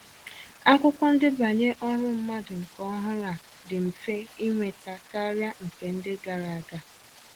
Akwụkwọ ndebanye ọrụ mmadụ nke ọhụrụ a dị mfe ịnweta karịa nke ndị gara aga